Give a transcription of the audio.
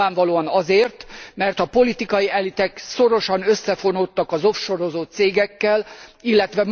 Nyilvánvalóan azért, mert a politikai elitek szorosan összefonódtak az offshore ozó cégekkel, ill.